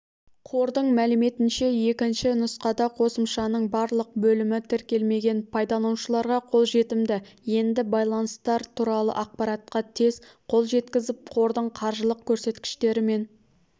қордың мәліметінше екінші нұсқада қосымшаның барлық бөлімі тіркелмеген пайдаланушыларға қолжетімді енді байланыстар туралы ақпаратқа тез қол жеткізіп қордың қаржылық көрсеткіштері мен